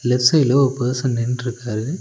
Left சைடுல ஒரு person நின்னுட்ருக்காரு.